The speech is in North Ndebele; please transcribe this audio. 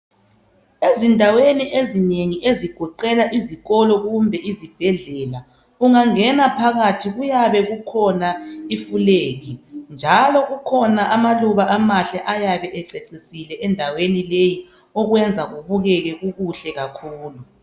Ezindaweni ezinengi ezigoqela izikolo kumbe izibhedlela, ungangena phakathi kuyabe kukhona ifulegi njalo kukhona amaluba amahle ayabe ececisile endaweni leyi okwenza kubukeke kukuhle kakhulu.